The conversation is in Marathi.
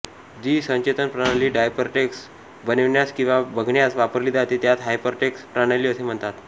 जी संचेतन प्रणाली हायपरटेक्स्ट बनविण्यास किंवा बघण्यास वापरली जाते त्यास हायपरटेक्स्ट प्रणाली असे म्हणतात